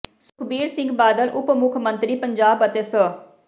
ਸੁਖਬੀਰ ਸਿੰਘ ਬਾਦਲ ਉਪ ਮੁੱਖ ਮੰਤਰੀ ਪੰਜਾਬ ਅਤੇ ਸ